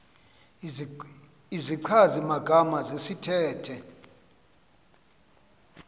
izichazi magama zesithethe